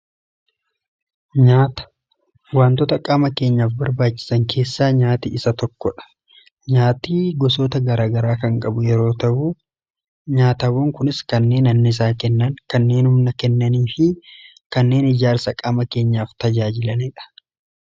nyaata wantoota qaama keenyaaf barbaachisan keessaa nyaati isa tokkodha. nyaati gosoota garagaraa kan qabu yeroo ta'u, nyaatawwan kunis kanneen anniisaa kennan, kanneen humna kennanii fi kanneen ijaarsa qaama keenyaaf tajaajilaniidha.